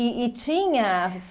E e tinha